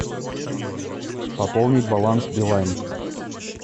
пополнить баланс билайн